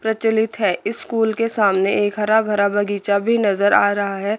प्रचलित है स्कूल के सामने एक हरा भरा बगीचा भी नजर आ रहा है।